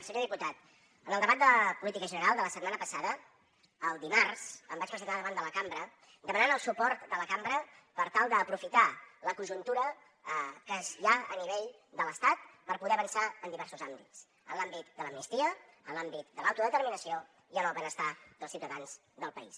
senyor diputat en el debat de política general de la setmana passada el dimarts em vaig presentar davant de la cambra demanant el suport de la cambra per tal d’aprofitar la conjuntura que hi ha a nivell de l’estat per poder avançar en diversos àmbits en l’àmbit de l’amnistia en l’àmbit de l’autodeterminació i en el benestar dels ciutadans del país